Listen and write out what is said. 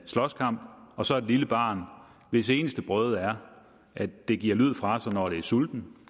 slåskamp og så et lille barn hvis eneste brøde er at det giver lyd fra sig når det er sultent